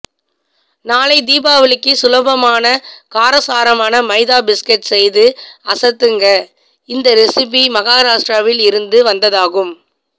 நாளை தீபாவளிக்கு சுலபமான காரசாரமான மைதா பிஸ்கட் செய்து அசத்துங்க இந்த ரெசிபி மகாராஷ்டிராவில் இருந்து வந்ததாகும்